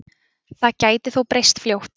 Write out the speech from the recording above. Það geti þó breyst fljótt